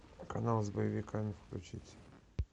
канал с боевиками включить